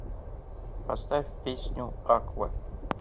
поставь песню аква